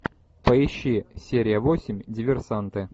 поищи серия восемь диверсанты